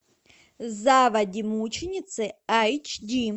заводи мученицы айч ди